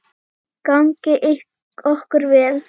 Gangi okkur vel.